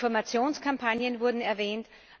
Informationskampagnen wurden erwähnt.